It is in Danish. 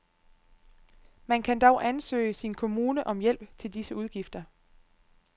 Man kan dog ansøge sin kommune om hjælp til disse udgifter.